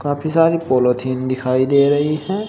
काफी सारी पॉलीथिन दिखाई दे रही है।